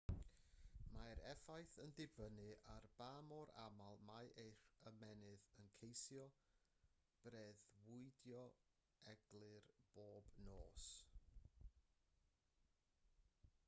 mae'r effaith yn dibynnu ar ba mor aml mae eich ymennydd yn ceisio breuddwydio'n eglur bob nos